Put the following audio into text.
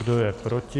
Kdo je proti?